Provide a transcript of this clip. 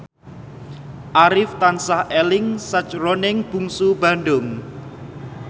Arif tansah eling sakjroning Bungsu Bandung